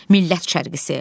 Millət çərkisi.